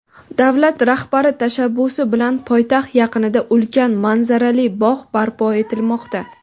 Davlat rahbari tashabbusi bilan poytaxt yaqinida ulkan manzarali bog‘ barpo etilmoqda.